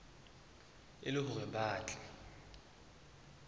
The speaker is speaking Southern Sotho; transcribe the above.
e le hore ba tle